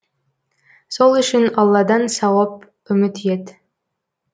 сол үшін алладан сауап үміт ет